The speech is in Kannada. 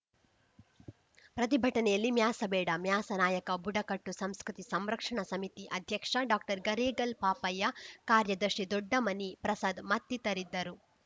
ಪ್ರತಿಭಟನೆಯಲ್ಲಿ ಮ್ಯಾಸಬೇಡ ಮ್ಯಾಸ ನಾಯಕ ಬುಡಕಟ್ಟು ಸಂಸ್ಕೃತಿ ಸಂರಕ್ಷಣಾ ಸಮಿತಿ ಅಧ್ಯಕ್ಷ ಡಾಕ್ಟರ್ಗರೇಗಲ್‌ ಪಾಪಯ್ಯ ಕಾರ್ಯದರ್ಶಿ ದೊಡ್ಡಮನಿ ಪ್ರಸಾದ್‌ ಮತ್ತಿತರಿದ್ದರು